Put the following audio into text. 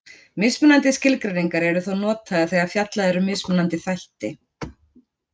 Mismunandi skilgreiningar eru þó notaðar þegar fjallað er um mismunandi þætti.